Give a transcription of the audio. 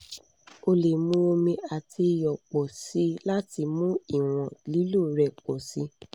o le mu omi ati iyọ pọ si lati mu iwọn lilo rẹ pọ si